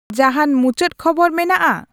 ᱡᱟᱦᱟᱸᱱ ᱢᱩᱪᱟᱹᱫ ᱠᱷᱚᱵᱚᱨ ᱢᱮᱱᱟᱜᱼᱟ